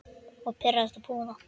Og pirrast og puða.